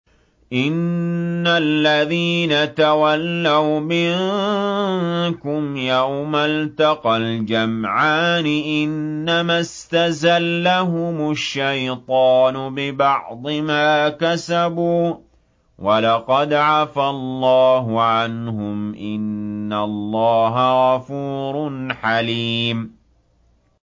إِنَّ الَّذِينَ تَوَلَّوْا مِنكُمْ يَوْمَ الْتَقَى الْجَمْعَانِ إِنَّمَا اسْتَزَلَّهُمُ الشَّيْطَانُ بِبَعْضِ مَا كَسَبُوا ۖ وَلَقَدْ عَفَا اللَّهُ عَنْهُمْ ۗ إِنَّ اللَّهَ غَفُورٌ حَلِيمٌ